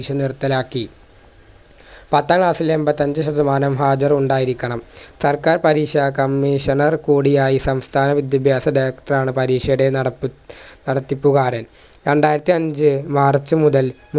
പരീക്ഷ നിർത്തലാക്കി പത്താം class എൺപത്തഞ്ച് ശതമാനം ഹാജർ ഉണ്ടായിരിക്കണം സർക്കാർ പരീഷ കമ്മീഷണർ കൂടിയായി സംസ്ഥാന വിദ്യഭ്യാസ director ആണ് പരീഷയുടെ നടത്തി നടത്തിപ്പുക്കാരൻ രണ്ടായിരത്തിഅഞ്ച് march മുതൽ